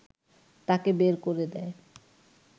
তাকে বের করে দেয়